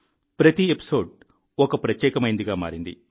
ప్రతి ఎపిసోడ్ ఒక ప్రత్యేకమైందిగా మారింది